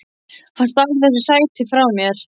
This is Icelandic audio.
Hann stal þessu sæti frá mér!